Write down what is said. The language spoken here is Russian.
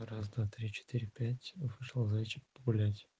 раз-два-три-четыре-пять вышел зайчик погулять